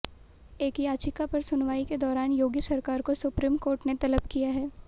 एक याचिका पर सुनवाई के दौरान योगी सरकार को सुप्रीम कोर्ट ने तलब किया है